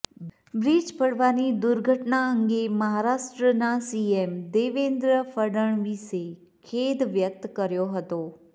bridge પડવાની દુર્ઘટના અંગે મહારાષ્ટ્રના સીએમ દેવેન્દ્ર ફડણવીસે ખેદ વ્યક્ત કર્યો હતો